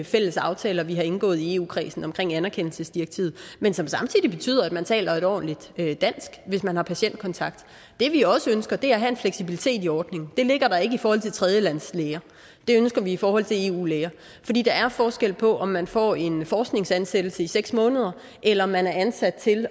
fælles aftaler vi har indgået i eu kredsen omkring anerkendelsesdirektivet men som samtidig betyder at man taler et ordentligt dansk hvis man har patientkontakt det vi også ønsker er at have en fleksibilitet i ordningen det ligger der ikke i forhold til tredjelandes læger det ønsker vi i forhold til eu læger fordi der er forskel på om man får en forskningsansættelse i seks måneder eller om man er ansat til